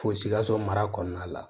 Fo sikaso mara kɔnɔna la